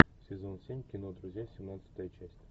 сезон семь кино друзья семнадцатая часть